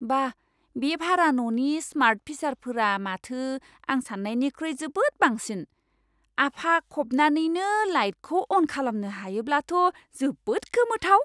बा, बे भारा न'नि स्मार्ट फिचारफोरा माथो आं सान्नायनिख्रुइ जोबोद बांसिन। आफा खबनानैनो लाइटखौ अन खालामनो हायोब्लाथ' जोबोद गोमोथाव।